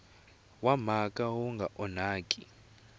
wa mhaka wu nga onhaki